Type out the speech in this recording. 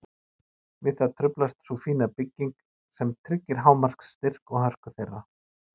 Við það truflast sú fína bygging sem tryggir hámarks styrk og hörku þeirra.